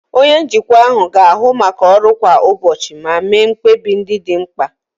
Onye njikwa ahụ ga-ahụ maka ọrụ kwa ụbọchị ma mee mkpebi ndị dị mkpa.